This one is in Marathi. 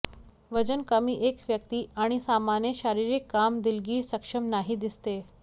वजन कमी एक व्यक्ती आणि सामान्य शारीरिक काम दिलगीर सक्षम नाही दिसते